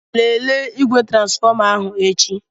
Lelee igwe transfọma ahụ echi.